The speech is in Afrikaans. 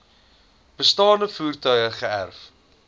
bestaande voertuie geërf